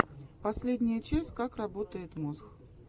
последняя часть как работает мозг